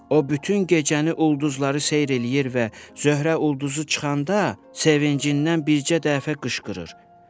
O bütün gecəni ulduzları seyr eləyir və Zöhrə ulduzu çıxanda sevincindən bircə dəfə qışqırır.